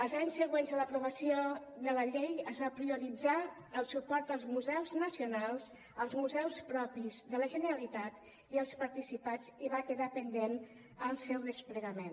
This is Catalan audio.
els anys següents a l’aprovació de la llei es va prioritzar el suport als museus nacionals als museus propis de la generalitat i als participats i va quedar pendent el seu desplegament